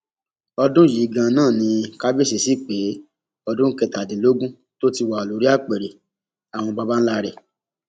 ọdún yìí ganan náà ni kábíyèsí sí pé ọdún kẹtàdínlógún tó ti wà lórí apẹrẹ àwọn baba ńlá rẹ